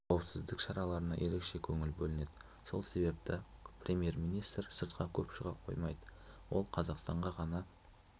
израильде қауіпсіздік шараларына ерекше көңіл бөлінеді сол себепті премьер-министр сыртқа көп шыға қоймайды ол қазақстанға ғана